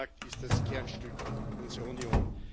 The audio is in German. Der Binnenmarkt ist das Kernstück unserer Union.